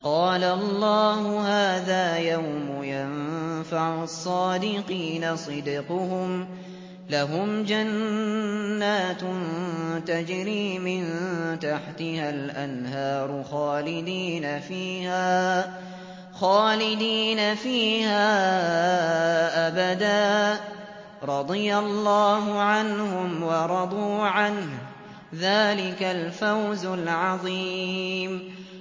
قَالَ اللَّهُ هَٰذَا يَوْمُ يَنفَعُ الصَّادِقِينَ صِدْقُهُمْ ۚ لَهُمْ جَنَّاتٌ تَجْرِي مِن تَحْتِهَا الْأَنْهَارُ خَالِدِينَ فِيهَا أَبَدًا ۚ رَّضِيَ اللَّهُ عَنْهُمْ وَرَضُوا عَنْهُ ۚ ذَٰلِكَ الْفَوْزُ الْعَظِيمُ